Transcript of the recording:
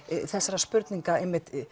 þessarar spurningar